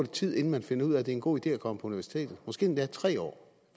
tid inden man finder ud af det er en god idé at komme på universitetet måske endda tre år